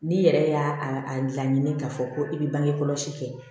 N'i yɛrɛ y'a a laɲini k'a fɔ ko i bɛ bange kɔlɔsi kɛ